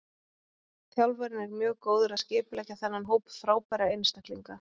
Þjálfarinn er mjög góður að skipuleggja þennan hóp frábærra einstaklinga.